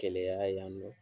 Kɛlɛyara yan nɔ